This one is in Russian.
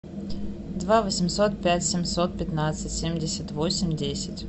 два восемьсот пять семьсот пятнадцать семьдесят восемь десять